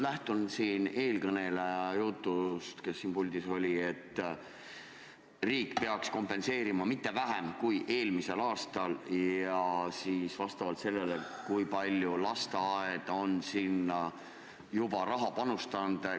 Ma küsin lähtuvalt eelmise puldis olnud kõneleja jutust, et riik peaks kompenseerima samas ulatuses, kui eelmisel aastal lasteaedadesse on raha panustatud.